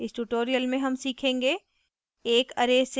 इस tutorial में हम सीखेंगे